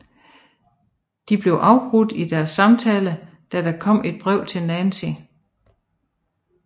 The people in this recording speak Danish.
De bliver afbrudt i deres samtale da der kommer et brev til Nancy